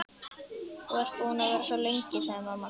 Þú ert búin að vera svo lengi, sagði mamma.